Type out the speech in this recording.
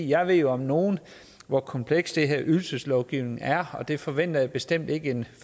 jeg ved jo om nogen hvor kompleks den her ydelseslovgivning er og den forventer jeg da bestemt ikke at en